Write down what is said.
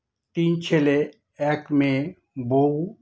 তিন ছেলে এক মেয়ে বৌ